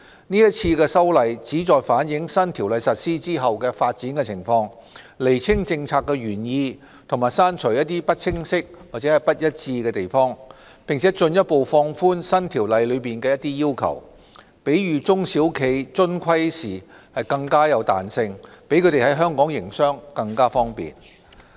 是次修例旨在反映新《公司條例》實施後的發展情況，釐清政策原意及刪除不清晰和不一致之處；並且進一步放寬新《公司條例》中的一些要求，給予中小企遵規時更大彈性，讓他們在香港營商更為方便。